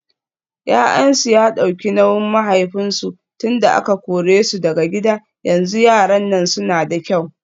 Yayansu ya dauki nauyin mahaifinsu tunda aka kore su daga gida yanzu yaran nan suna da kyau.